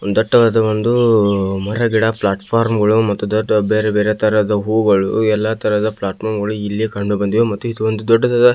ದಟ್ಟವಾಗ ಒಂದು ಮರ ಗಿಡ ಪ್ಲಾಟ್ ಫಾರಂ ಗಳು ಮತ್ತು ದೊಡ್ಡ ದೊಡ್ಡ ಬೇರೆ ಬೇರೆ ತರಹದ ಹೂವುಗಳು ಎಲ್ಲ ಪ್ಲಾಟ್ಫಾರ್ಮ್ ಗಳು ಇಲ್ಲಿ ಕಂಡುಬಂದಿದೆ ಮತ್ತು ದೊಡ್ಡದಾದ--